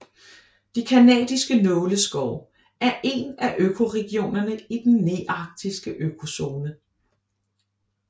De canadiske nåleskove er en af økoregionerne i i den nearktiske økozone